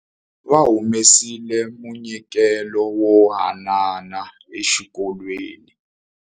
Va humesile munyikelo wo hanana exikolweni.